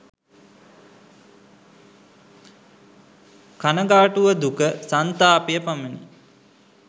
කනගාටුව දුක සන්තාපය පමණි.